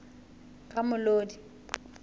ramolodi